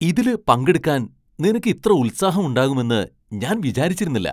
ഇതില് പങ്കെടുക്കാൻ നിനക്ക് ഇത്ര ഉൽസാഹം ഉണ്ടാകുമെന്ന് ഞാൻ വിചാരിച്ചിരുന്നില്ല.